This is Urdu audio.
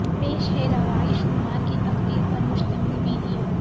پیش ہے روایش کمار کی تقریر پر مشتمل ویڈیو